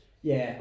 Ja